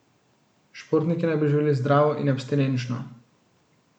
Športniki naj bi živeli zdravo in abstinenčno.